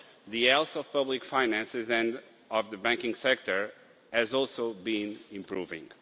The health of public finances and of the banking sector has also been improving.